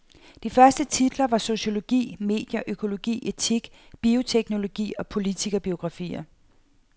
De første titler var sociologi, medier, økologi, etik, bioteknologi og politikerbiografier.